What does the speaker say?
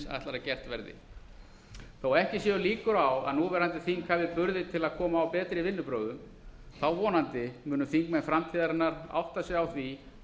að gert verði þó ekki séu líkur á að núverandi þing hafi burði til að koma á betri vinnubrögðum vonandi munu þingmenn framtíðarinnar átta sig á því að